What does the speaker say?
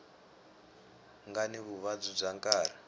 nga ni vuvabyi bya nkarhi